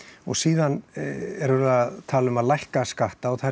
og síðan er verið að tala um að lækka skatta og